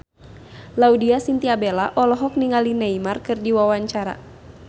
Laudya Chintya Bella olohok ningali Neymar keur diwawancara